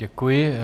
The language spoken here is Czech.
Děkuji.